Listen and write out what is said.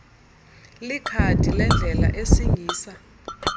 likhadi lendlela esingisa